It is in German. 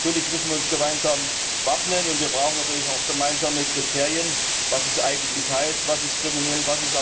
Natürlich müssen wir uns gemeinsam wappnen, und wir brauchen natürlich auch gemeinsame Kriterien, was es eigentlich heißt Was ist kriminell